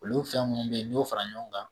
Olu fɛn munnu be ye n'i y'o fara ɲɔɔn kan